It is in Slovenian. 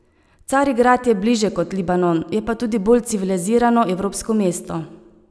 Carigrad je bliže kot Libanon, je pa tudi bolj civilizirano, evropsko mesto.